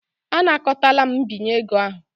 Anakọtala m mbinye ego ahụ.